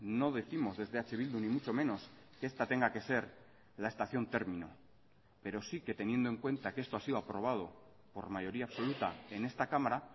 no décimos desde eh bildu ni mucho menos que esta tenga que ser la estación término pero sí que teniendo en cuenta que esto ha sido aprobado por mayoría absoluta en esta cámara